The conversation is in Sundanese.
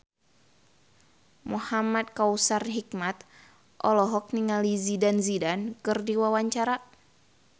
Muhamad Kautsar Hikmat olohok ningali Zidane Zidane keur diwawancara